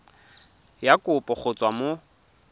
ya kopo go tswa mo